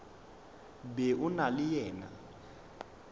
be o na le yena